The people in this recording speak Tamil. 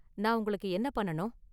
நான் உங்களுக்கு என்ன பண்ணனும்?